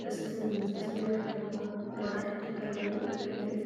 ጥስቲን ዝመሳሰሉ ይርከቡዎም፡፡ ዋጋ ሓደ ፈርኔሎ ክንደይ እዩ?